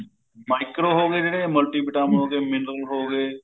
micro ਹੋ ਗਏ ਜਿਹੜੇ multi vitamin ਹੋ ਗਏ ਜਿਹੜੇ mineral ਹੋ ਗਏ